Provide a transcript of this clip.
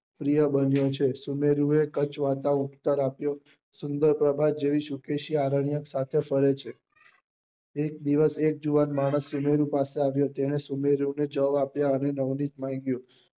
પ્રિય બન્યો છે સુનેરી એ કચવાતા ઉત્તર આપ્યો સુંદર પ્રભાવ જેવી શુકેશી આરન્ક્ય સાથે ફરે છે એક દિવસ એક જુવાન માણસ સુનેરી પાસે આવ્યો તેને સુનેરયોગ્ય જવાબ આપ્યો અને નવનીત બની ગયો